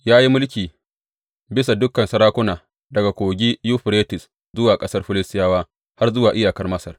Ya yi mulki bisa dukan sarakuna daga Kogi Yuferites zuwa ƙasar Filistiyawa, har zuwa iyakar Masar.